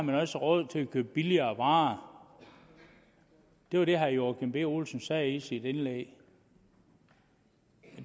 man også råd til at købe billigere varer det var det herre joachim b olsen sagde i sit indlæg